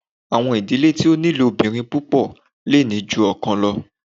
Awọn idile ti o ni ilobirin pupọ le ni ju ọkan lọ